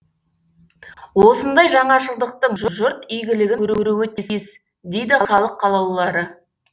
осындай жаңашылдықтың жұрт игілігін көруі тиіс дейді халық қалаулылары